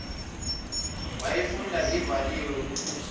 wayifunda ivaliwe uphumla